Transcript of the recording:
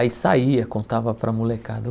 Aí saía, contava para a molecada.